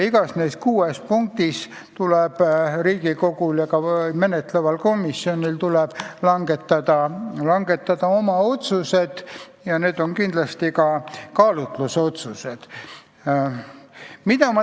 Igaühes neist kuuest punktist tuleb Riigikogul ja ka menetleval komisjonil langetada oma otsused ja need on kindlasti kaalutlusotsused.